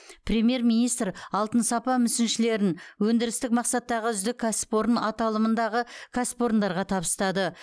премьер министр алтын сапа мүсіншелерін өндірістік мақсаттағы үздік кәсіпорын аталымындағы кәсіпорындарға табыстады